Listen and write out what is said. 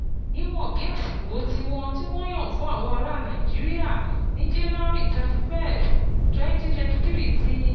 Níwọ̀n bí àsìkò tí wọ́n ti yàn fún àwọn ará Nàìjíríà ní January thirty one, twenty twenty three ti